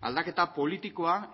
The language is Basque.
aldaketa politikoa